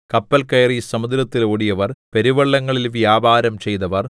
കപ്പൽ കയറി സമുദ്രത്തിൽ ഓടിയവർ പെരുവെള്ളങ്ങളിൽ വ്യാപാരം ചെയ്തവർ